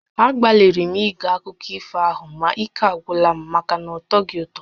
Agbalịrị m ige akụkọ ifo ahụ ma ike agwụla m maka na ọtọghị ụtọ